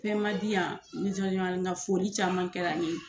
Fɛn ma di yan ka foli caman kɛra n ye